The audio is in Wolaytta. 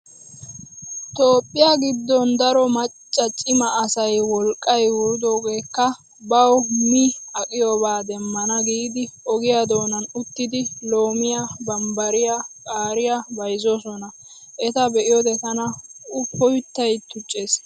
Toophphiya giddon daro macca cima asay wolqqay wuriddoogeekka bawu mi aqiyoobaa demmana giidi ogiyaa doonan uttidi loomiya, bambbariyaa qaariyaa bayzzoosona. Eta be"iyoode tana afuttay tucces.